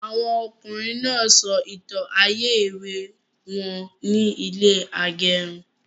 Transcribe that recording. Àwọn ọkùnrin náà sọ ìtàn ayé èwe wọn ní ilẹ agẹrun